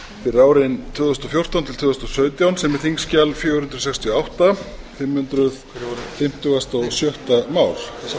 fyrir árin tvö þúsund og fjórtán til tvö þúsund og sautján sem er þingskjal fjögur hundruð sextíu og átta fimm hundruð fimmtugasta og sjötta mál